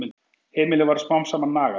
Heimilið varð smám saman nagað.